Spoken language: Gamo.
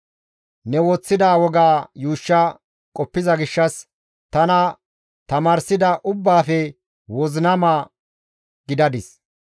Ne woththida woga yuushsha qoppiza gishshas tana tamaarsida ubbaafe wozinama gidadis.